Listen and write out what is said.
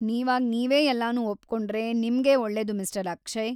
ನೀವಾಗ್‌ ನೀವೇ ಎಲ್ಲನೂ ಒಪ್ಕೊಂಡ್ರೆ ನಿಮ್ಗೇ ಒಳ್ಳೇದು ಮಿಸ್ಟರ್‌ ಅಕ್ಷಯ್‌.